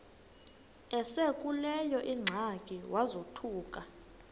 esekuleyo ingxaki wazothuka